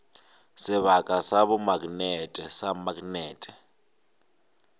sebaka sa bomaknete sa maknete